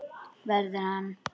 Verður hann.